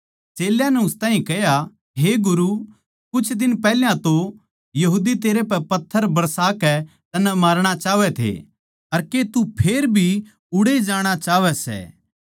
चेल्यां नै उस ताहीं कह्या हे गुरु कुछ दिन पैहल्या तो यहूदी तेरै पै पत्थर बरसा कै तन्नै मारणा चाहवै थे अर के तू फेर भी उड़ैए जाणा चाहवै सै